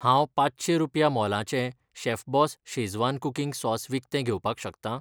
हांव पांचशें रुपया मोलाचें शेफबॉस शेझवान कुकिंग सॉस विकतें घेवपाक शकता?